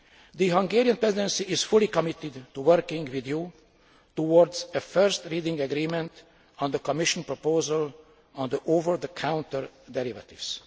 The Hungarian Presidency is fully committed to working with you towards a first reading agreement on the Commission proposal on over the counter derivatives.